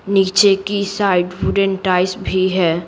नीचे की side wooden tiles भी है।